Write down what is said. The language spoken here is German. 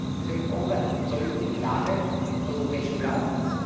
Deswegen brauchen wir eine überzeugende, klare europäische Planung.